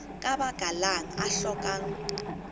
ka baka lang o hlokang